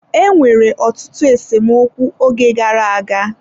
Enwere ọtụtụ esemokwu oge gara aga.